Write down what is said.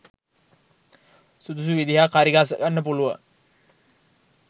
සුදුසු විදිහක් හරිගස්ස ගන්න පුළුවන්.